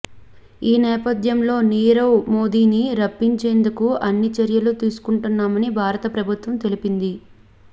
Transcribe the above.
ఈ నేపథ్యంలో నీరవ్ మోదీని రప్పించేందుకు అన్ని చర్యలు తీసుకుంటున్నామని భారత ప్రభుత్వం తెలిపింది